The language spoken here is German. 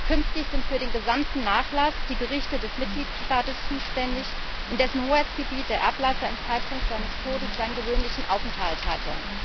Künftig sind für den gesamten Nachlass die Gerichte des Mitgliedstaates zuständig, in dessen Hoheitsgebiet der Erblasser zum Zeitpunkt seines Todes seinen gewöhnlichen Aufenthalt hatte.